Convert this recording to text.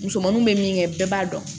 Musomaninw bɛ min kɛ bɛɛ b'a dɔn